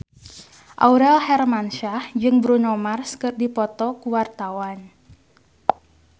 Aurel Hermansyah jeung Bruno Mars keur dipoto ku wartawan